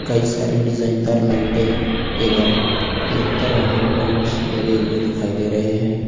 कई सारी डिजाइन दार लाईटें एवं लतर वाले प्लांट्स लगे हुए दिखाई दे रहे हैं।